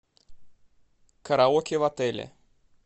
караоке в отеле